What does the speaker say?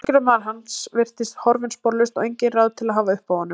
Velgjörðarmaður hans virtist horfinn sporlaust og engin ráð til að hafa uppi á honum.